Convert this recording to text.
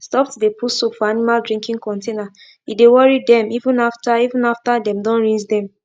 stop to de put soap for animal drinking containere de worry dem even after even after dem don rinse dem